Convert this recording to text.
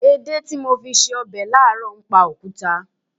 Èdè tí mo fi ṣe ọbẹ̀ láàárọ̀ ń pa òkúta.